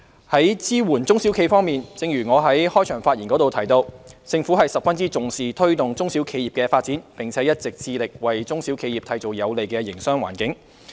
在支援中小型企業方面，正如我在開場發言提到，政府十分重視推動中小企發展，並一直致力為中小企締造有利營商的環境。